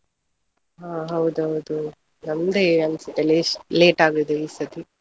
ಹಾ ಹೌದ್ ಹೌದು. ನಮ್ದೇ ಅನ್ಸುತ್ತೆ late ಆದದ್ದು ಈ ಸತಿ.